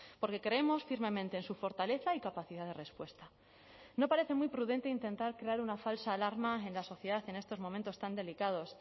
porque creemos firmemente en su fortaleza y capacidad de respuesta no parece muy prudente intentar crear una falsa alarma en la sociedad en estos momentos tan delicados